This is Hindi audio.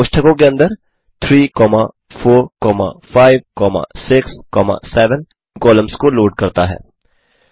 अतः कोष्ठकों के अंदर 34567 कॉलम्स को लोड करता है